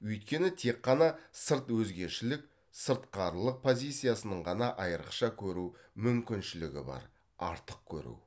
өйткені тек қана сырт өзгешілік сыртқарылық позициясының ғана айрықша көру мүмкіншілігі бар артық көру